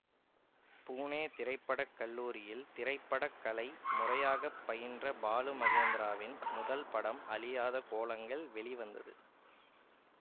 பூனே திரை பட கல்லூரியில் திரை பட கலையை முறையாக பயின்ற பாலு மகேந்திராவின் முதல் படம் அழியாத கோலங்கள் வெளிவந்தது